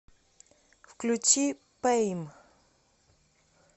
включи пэйм